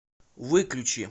выключи